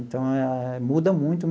Então eh, muda muito.